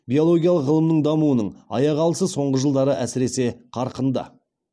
биологиялық ғылымның дамуының аяқ алысы соңғы жылдары әсіресе қарқынды